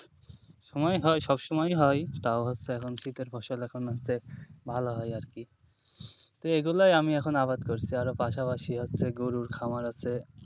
সময় হয় সবসময়ই হয় তাও হচ্ছে এখন শীতের ফসল এখন হচ্ছে ভালো হয় আরকি তো এগুলোই আমি এখন আবাদ করছি আরও পাশাপাশি হচ্ছে গরুর খামার আছে।